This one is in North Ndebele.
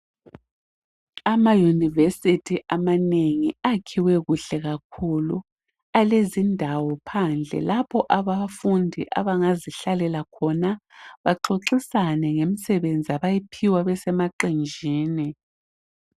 ama university amanengi akhiwe kuhle kakhulu elezindawo phandle lapho abafundi abangazihlalela khona baxoxisane ngemisebenzi abayiphiwe besemaqenjini